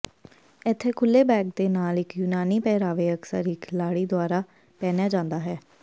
ਇੱਕ ਖੁੱਲ੍ਹੇ ਬੈਕ ਦੇ ਨਾਲ ਇੱਕ ਯੂਨਾਨੀ ਪਹਿਰਾਵੇ ਅਕਸਰ ਇੱਕ ਲਾੜੀ ਦੁਆਰਾ ਪਹਿਨਿਆ ਜਾਂਦਾ ਹੈ